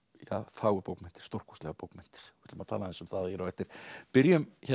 fagurbókmenntir stórkostlegar bókmenntir við ætlum að tala aðeins um það hér á eftir byrjum